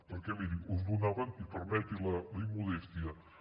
perquè miri us donaven i permeti’m la immodèstia